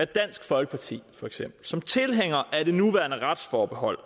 dansk folkeparti som tilhængere af de nuværende retsforbehold